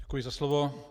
Děkuji za slovo.